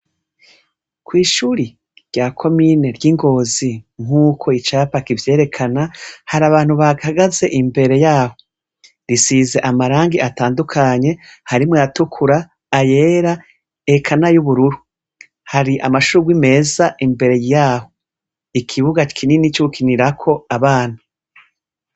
Kw'ishure rya komine ry'i Ngozi nk'uko icapa kivyerekana, hari abantu bahahagaze imbere yaho. Risize amarangi atandukanye, harimwo ayatukura, ayera, eka n'ay'ubururu. Hari amashurwi meza imbere yaho. Ikibuga kinini c'ugukinirako abana.